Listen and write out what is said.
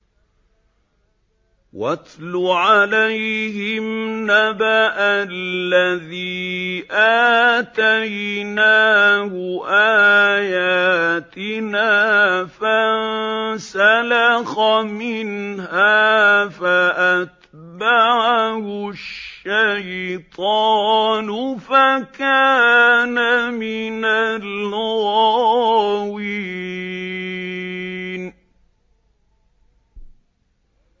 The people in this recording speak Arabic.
وَاتْلُ عَلَيْهِمْ نَبَأَ الَّذِي آتَيْنَاهُ آيَاتِنَا فَانسَلَخَ مِنْهَا فَأَتْبَعَهُ الشَّيْطَانُ فَكَانَ مِنَ الْغَاوِينَ